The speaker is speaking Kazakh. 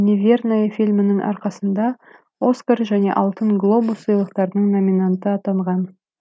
неверная фильмінің арқасында оскар және алтын глобус сыйлықтарының номинанты атанған